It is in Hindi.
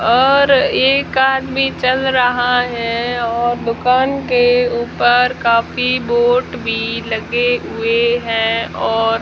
और एक आदमी चल रहा हैं और दुकान के ऊपर काफी बोट भी लगे हुएं हैं और--